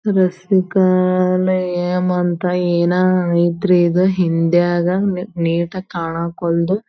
ರಸ್ಮಿಕಾನ ಏಮಂತ ಏನಾ ಐತ್ರಿ ಇದ್ ಹಿಂದಿಯಾಗ ನೀಟಾಗ್ ಕಾಣಕ್ವಲ್ದು.